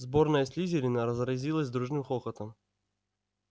сборная слизерина разразилась дружным хохотом